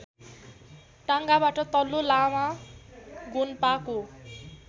टाङाबाट तल्लो लामा गोन्पाको